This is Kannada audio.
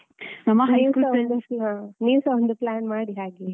ನೀವುಸ ಒಂದು plan ಮಾಡಿ ಹಾಗೆ